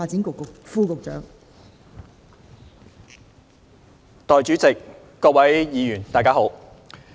代理主席，各位議員，大家好。